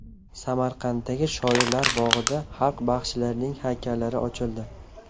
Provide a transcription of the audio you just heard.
Samarqanddagi Shoirlar bog‘ida xalq baxshilarining haykallari ochildi.